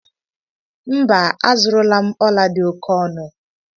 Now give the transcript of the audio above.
Mba, azụrụla m ọla dị oke ọnụ